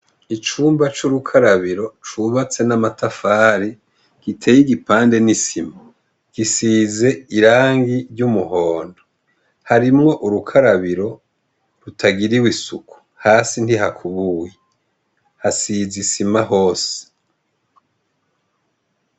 Icumba c'urukarabiro cubatse n'amatafari giteye igipande n'isima gisize irangi ry'umuhondo harimwo urukarabiro rutagiriwe isuku hasi ntihakubuwe hasize isima hose.